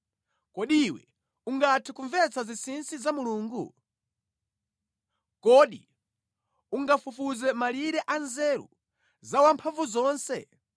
“Kodi iwe ungathe kumvetsa zinsinsi za Mulungu? Kodi ungafufuze malire a nzeru za Wamphamvuzonse?